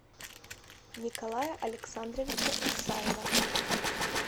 николая александровича исаева